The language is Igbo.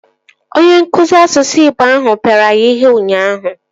Onye nkụzi asụsụ igbo ahụ pịara ya ihe ụnyaahụ